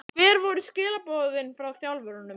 Hver voru skilaboðin frá þjálfurunum?